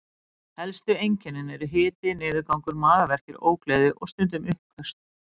Helstu einkennin eru hiti, niðurgangur, magaverkir, ógleði og stundum uppköst.